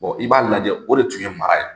i b'a lajɛ o de tun ye mara ye.